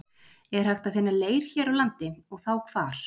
Er hægt að finna leir hér á landi- og þá hvar?